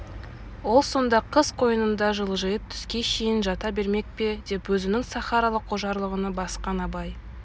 ол сонда қыз қойнында шалжиып түске шейін жата бермек пе деп өзінің сахаралық ожарлығына басқан абай